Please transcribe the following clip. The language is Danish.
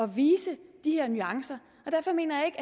vise de her nuancer og derfor mener